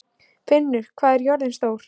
Finnur, hvað er jörðin stór?